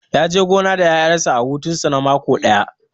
Ya je gona da ƴaƴansa a hutun su na mako ɗaya